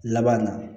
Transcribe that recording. Laban na